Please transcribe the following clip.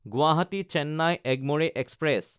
গুৱাহাটী–চেন্নাই Egmore express